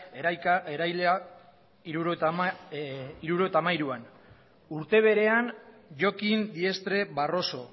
eraila mila bederatziehun eta hirurogeita hamairuan urte berean jokin diestre barroso